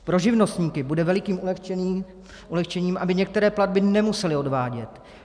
Pro živnostníky bude velikým ulehčením, aby některé platby nemuseli odvádět.